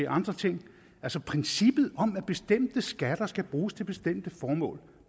andre ting altså princippet om at bestemte skatter skal bruges til bestemte formål